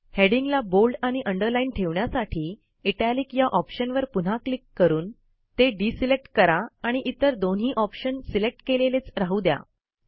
हेडिंगला bold आणि underline ठेवण्यासाठी italic या ऑप्शनवर पुन्हा क्लिक करून ते डिसिलेक्ट करा आणि इतर दोन्ही ऑप्शन सिलेक्ट केलेलेच राहू द्या